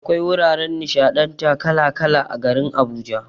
Akwai wuraren nishaɗantar kala kala a garin Abuja.